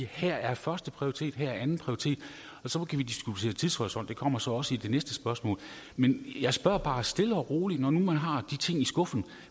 her er førsteprioritet her er andenprioritet og så kan vi diskutere tidshorisont og det kommer så også i det næste spørgsmål men jeg spørger bare stille og roligt når man nu har de ting i skuffen